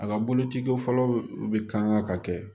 A ka boloci ko fɔlɔ bɛ kanga ka kɛ